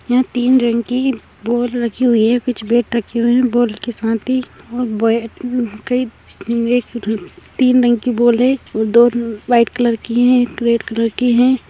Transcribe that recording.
यहाँ तीन रंग की बॉल रखी हुई है कुछ बैट रखे हुए हैं बॉल के साथ ही तीन रंग की बॉल है दो व्हाइट कलर की हैं एक रेड कलर की है।